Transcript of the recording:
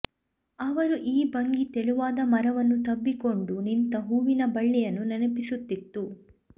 ಅವರ ಈ ಭಂಗಿ ತೆಳುವಾದ ಮರವನ್ನು ತಬ್ಬಿಕೊಂಡು ನಿಂತ ಹೂವಿನ ಬಳ್ಳಿಯನ್ನು ನೆನಪಿಸುತ್ತಿತ್ತು